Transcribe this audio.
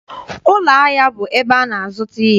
Ụlọahịa bụ ebe a na-azụta ihe.